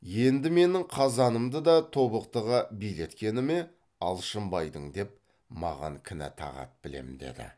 енді менің қазанымды да тобықтыға билеткені ме алшынбайдың деп маған кінә тағады білем деді